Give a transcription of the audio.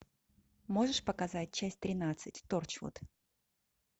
можешь показать часть тринадцать торчвуд